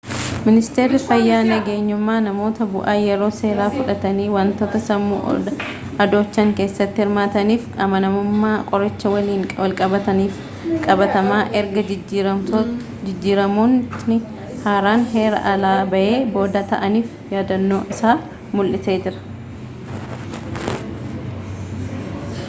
miniisteerri fayyaa nagenyummaa namoota bu'aa yeroo seeraa fudhatani wantoota sammuu adoochan keessatti hirmaatanii fi amanamummaa qoricha waliin walqabtan fi qabataman erga jijjiiramootni haaraan heeraa-alaa bahee booda ta'aniif yaaddoo isaa mul'isee jira